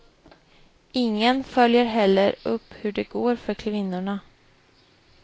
Ingen följer heller upp hur det går för kvinnorna.